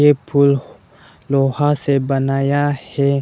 ये पुल लोहा से बनाया है।